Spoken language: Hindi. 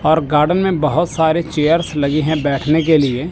और गार्डन में बहुत सारे चेयर्स लगी है बैठने के लिए--